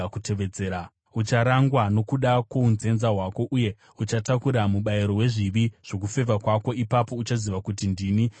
Ucharangwa nokuda kwounzenza hwako uye uchatakura mubayiro wezvivi zvokufeva kwako. Ipapo uchaziva kuti ndini Ishe Jehovha.”